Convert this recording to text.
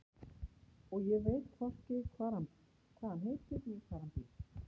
Og ég veit hvorki hvað hann heitir né hvar hann býr.